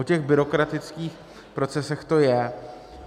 O těch byrokratických procesech to je.